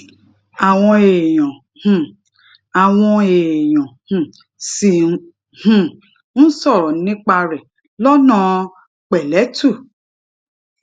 àwọn èèyàn um àwọn èèyàn um ṣì um ń sòrò nípa rè lónà pèlétù